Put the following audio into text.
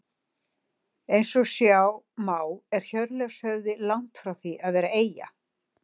Eins og sjá má er Hjörleifshöfði langt frá því að vera eyja.